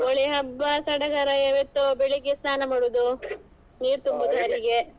ದೀಪಾವಳಿ ಹಬ್ಬ ಸಡಗರ ಇವತ್ತು ಬೆಳಿಗ್ಗೆ ಸ್ನಾನ ಮಾಡುದು ನೀರುತುಂಬುವುದು .